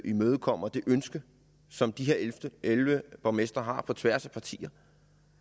imødekommer det ønske som de her elleve borgmestre har på tværs af partierne